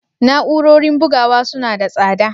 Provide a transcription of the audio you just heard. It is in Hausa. Na'urorin bugawa suna da tsada?